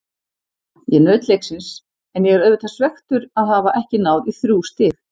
Ég naut leiksins en ég er auðvitað svekktur að hafa ekki náð í þrjú stig.